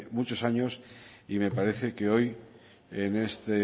muchos años y me parece que hoy en este